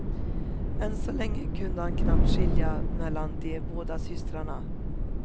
Än så länge kunde han knappt skilja mellan de båda systrarna.